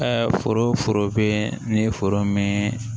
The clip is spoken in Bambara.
foro foro bɛ ni foro mɛn